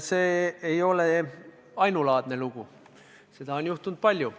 See ei ole ainulaadne lugu, seda on juhtunud palju.